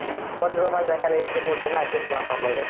ಒಂದು room ಲ್ಲೇ ಬೇಕಿದ್ರೆ ಇಬ್ರೂ ಮೂರು ಜನ adjust ಮಾಡ್ಕೊಂಬೋದು